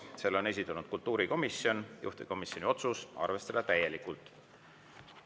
Selle on esitanud kultuurikomisjon, juhtivkomisjoni otsus on arvestada täielikult.